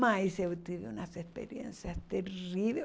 Mas eu tive umas experiências terrível